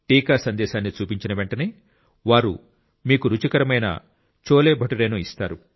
టీకా సందేశాన్ని చూపించిన వెంటనే వారు మీకు రుచికరమైన చోలేభతురేను ఇస్తారు